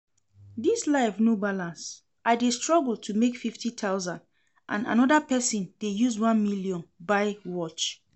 Dis life no balance, I dey struggle to make fifty thousand and another person dey use one million buy watch